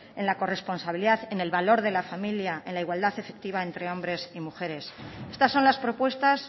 en la corresponsabilidad en el valor de la familia en la igualdad efectiva entre hombres y mujeres estas son las propuestas